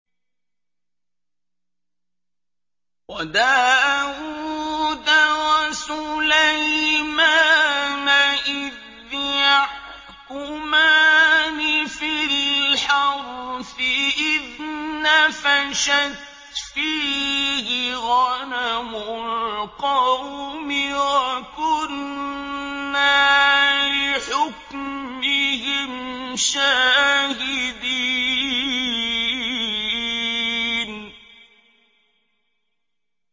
وَدَاوُودَ وَسُلَيْمَانَ إِذْ يَحْكُمَانِ فِي الْحَرْثِ إِذْ نَفَشَتْ فِيهِ غَنَمُ الْقَوْمِ وَكُنَّا لِحُكْمِهِمْ شَاهِدِينَ